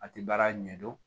A tɛ baara ɲɛdɔn